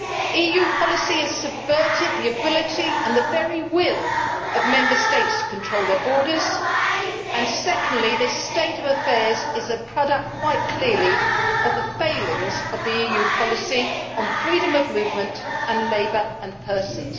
EU policy has subverted the ability and the very will of Member States to control their borders and secondly, this state of affairs is a product quite clearly of the failings of EU policy on freedom of movement and labour and persons.